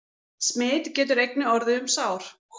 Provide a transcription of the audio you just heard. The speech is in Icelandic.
Smit getur einnig orðið um sár.